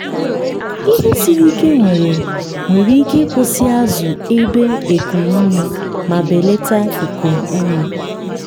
ihe siri ike nwere nwere ike ịkwụsị azụ ebe ekum ume ma belata ekum ume.